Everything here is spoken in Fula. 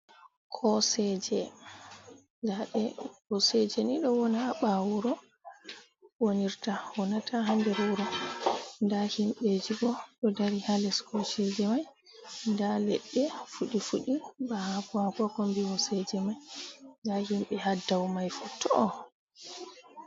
Kooseje ndaɗe, koosejeni ɗo woona ha ɓawo wuro wonirta woonata ha nder wuuro. Nda himɓeji bo ɗoo daari ha lees kooseje mai. Nda ledɗe fuɗi-fuɗi ba haako haako kombi hoseeje mai, nda himɓe haa dou maifuu to'o.